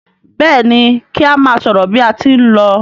Béèni ki a má sòrò bí a tí n ló.